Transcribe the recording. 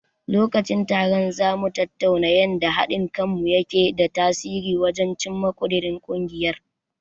Lokacin taron, za mu tattauna yanda haɗin kanmu yake da tasiri wajen cimma ƙudirin ungiyar.